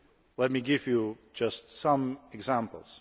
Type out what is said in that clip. Let me give you just some examples.